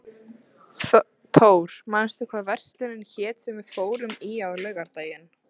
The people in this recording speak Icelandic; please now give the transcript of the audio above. Thór, manstu hvað verslunin hét sem við fórum í á laugardaginn?